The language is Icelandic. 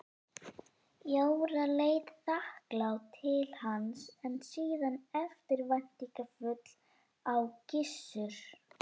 Jóra leit þakklát til hans en síðan eftirvæntingarfull á Gissur.